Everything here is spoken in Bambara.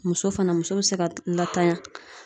Muso fana muso be se ka lantanya.